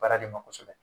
Baara de ma kosɛbɛ